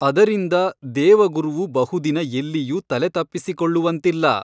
ಅದರಿಂದ ದೇವಗುರುವು ಬಹುದಿನ ಎಲ್ಲಿಯೂ ತಲೆ ತಪ್ಪಿಸಿಕೊಳ್ಳುವಂತಿಲ್ಲ.